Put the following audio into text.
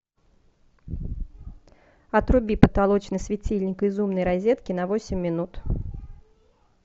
отруби потолочный светильник из умной розетки на восемь минут